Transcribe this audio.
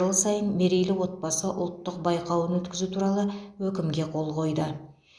жыл сайын мерейлі отбасы ұлттық байқауын өткізу туралы өкімге қол қойды